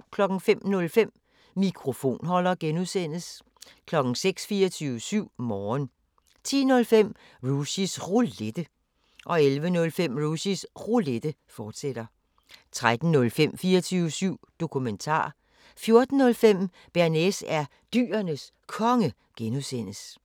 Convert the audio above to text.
05:05: Mikrofonholder (G) 06:00: 24syv Morgen 10:05: Rushys Roulette 11:05: Rushys Roulette, fortsat 13:05: 24syv Dokumentar 14:05: Bearnaise er Dyrenes Konge (G)